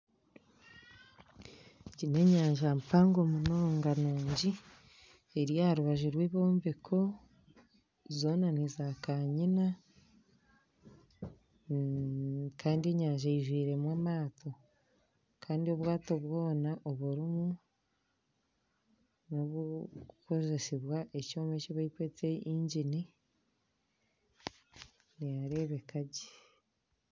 Egi n'enyanja mpango munonga nungi eri aha rubaju rw'ebyombeko zoona niza kanyina kandi enyanja eijwiremu amaato kandi obwaato bwoona oburimu nobw'okukozesibwa ekyoma ekibarikweta yingini nihareebeka gye.